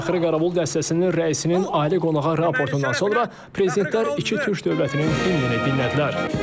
Fəxri Qaravul dəstəsinin rəisinin ali qonağa raportundan sonra prezidentlər iki türk dövlətinin himninə dinlədilər.